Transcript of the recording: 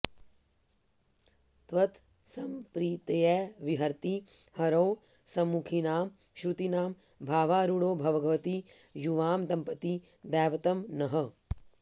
त्वत्सम्प्रीत्यै विहरति हरौ सम्मुखीनां श्रुतीनां भावारूढौ भगवति युवां दम्पती दैवतं नः